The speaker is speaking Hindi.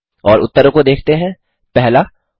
और उत्तरों को देखते हैं 1